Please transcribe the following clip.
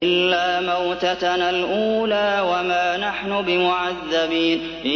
إِلَّا مَوْتَتَنَا الْأُولَىٰ وَمَا نَحْنُ بِمُعَذَّبِينَ